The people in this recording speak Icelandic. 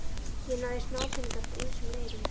Ég náði í smápeninga eftir ýmsum leiðum.